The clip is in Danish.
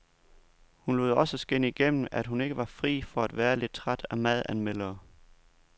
Hun lod også skinne igennem, at hun ikke var fri for at være lidt træt af madanmeldere.